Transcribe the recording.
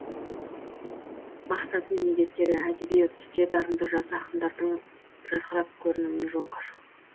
мақсаты мен міндеттері әдеби үрдісте дарынды жас ақындардың жарқырап көрінуіне жол ашу